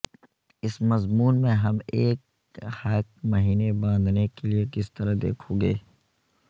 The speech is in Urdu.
اس مضمون میں ہم ایک ہک میمنے باندھنے کے لئے کس طرح دیکھو گے